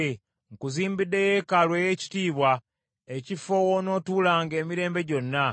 Nkuzimbidde yeekaalu ey’ekitiibwa, ekifo ky’onoobeerangamu emirembe gyonna.”